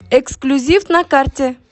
эксклюзив на карте